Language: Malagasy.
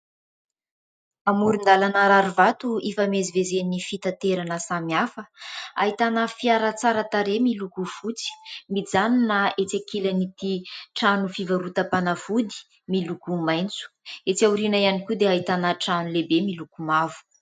Amoron- dàlana rary vato hifamezivezen'ny fitaterana samihafa ; ahitana fiara tsara tarehy miloko fotsy mijanona etsy ankilan' ity trano fivarotam- panafody miloko maitso. Etsy aoriana ihany koa dia ahitana trano lehibe miloko mavo.